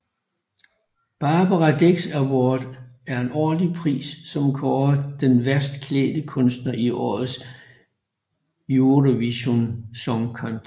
Barbara Dex Award er en årlig pris som kårer den værste klædt kunstner i årets Eurovision Song Contest